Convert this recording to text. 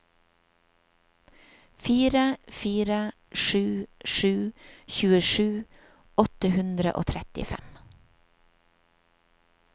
fire fire sju sju tjuesju åtte hundre og trettifem